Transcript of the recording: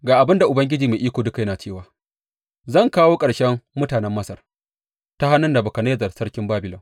Ga abin da Ubangiji Mai Iko Duka yana cewa, Zan kawo ƙarshen mutanen Masar ta hannun Nebukadnezzar sarkin Babilon.